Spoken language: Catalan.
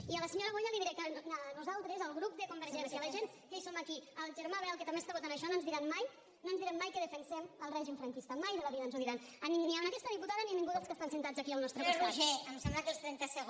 i a la senyora boya li diré que nosaltres el grup de convergència la gent que som aquí el germà bel que també està votant això no ens diran mai no ens diran mai que defensem el règim franquista mai de la vida ens ho diran ni a aquesta diputada ni a ningú dels que estan asseguts aquí al nostre costat